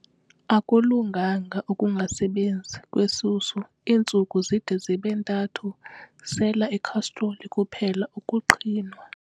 Akulunganga ukungasebenzi kwesusu iintsuku zide zibe ntathu, sela ikhastroli kuphele ukuqhinwa.